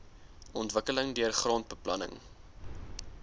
ontwikkeling deur grondbeplanning